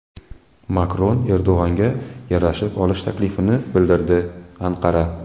Makron Erdo‘g‘onga yarashib olish taklifini bildirdi Anqara.